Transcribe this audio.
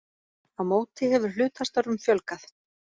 Á móti hefur hlutastörfum fjölgað